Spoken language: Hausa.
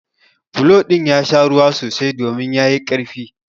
Bulo ɗin ya sha ruwa sosai domin ya yi ƙarfi.